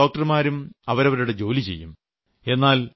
സർക്കാരും ഡോക്ടർമാരും അവരവരുടെ ജോലി ചെയ്യും